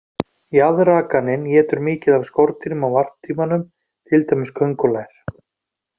Jaðrakaninn étur mikið af skordýrum á varptímanum, til dæmis köngulær.